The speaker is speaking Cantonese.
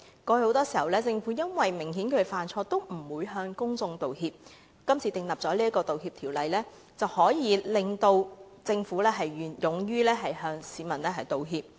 過去，很多時政府即使明顯犯錯，也不會向公眾道歉，今次訂立道歉條例，可令政府勇於向市民道歉。